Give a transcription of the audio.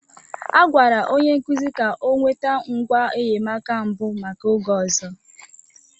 A gwara onye nkuzi ka ọ nweta ngwa enyemaka mbụ maka oge ọzọ.